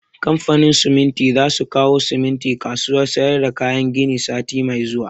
Kamfanin siminti za su kawo siminti kasuwan sayar da kayan gini sati mai zuwa